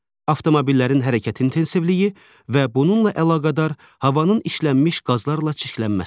avtomobillərin hərəkət intensivliyi və bununla əlaqədar havanın işlənmiş qazlarla çirklənməsi.